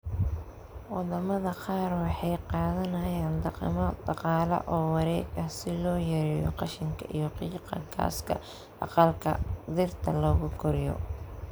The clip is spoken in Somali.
Wadamada qaar waxay qaadanayaan dhaqamo dhaqaale oo wareeg ah si loo yareeyo qashinka iyo qiiqa gaaska aqalka dhirta lagu koriyo.